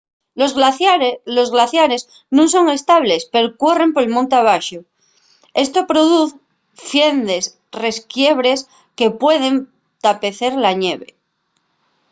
los glaciares nun son estables pero cuerren monte abaxo esto produz fiendes resquiebres que pueden tapecer la ñeve